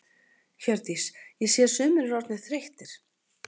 Hjördís: Ég sé að sumir eru orðnir þreyttir?